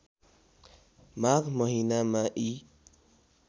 माघ महिनामा यी